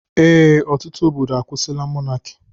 Ee, ọtụtụ obodo akwusila mọnaki